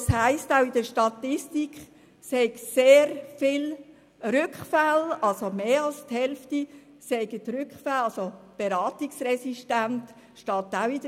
In der Statistik steht aber auch, dass es zu sehr vielen Rückfällen kommt und dass mehr als die Hälfte der Täter beratungsresistent und rückfällig sind.